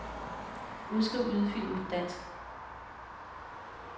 Udskriv lydfilen på dansk.